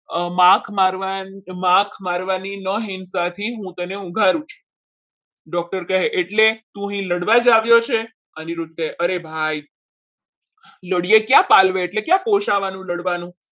માપ મારવાની મોહિત સાથે હું તને ઉઘાડું છું doctor કહે એટલે તું અહીં લડવા જ આવ્યો છે? અનિરુદ્ધ કહે અરે ભાઈ એટલે ક્યાં પાલે એટલે ક્યાં પહોંચવાનું લડવાનું